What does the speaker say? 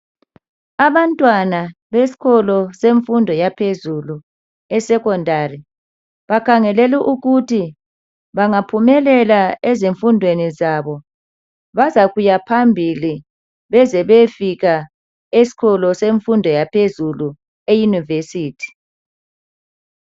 Abantwana beskolo semfundo yaphezulu esekhondari. Bakhangele ukuthi bengaphumelela ezimfundweni zabo bazakuyaphambili abezebeyefika eskolo semfumdo yaphezulu eyunivesithi.